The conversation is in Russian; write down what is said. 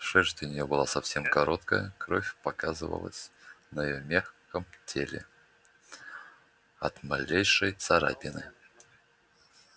шерсть у неё была совсем короткая кровь показывалась на её мягком теле от малейшей царапины